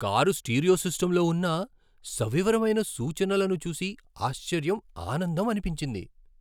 Car stereo సిస్టమ్లో ఉన్న సవివరమైన సూచనలను చూసి ఆశ్చర్యం, ఆనందం అనిపించింది.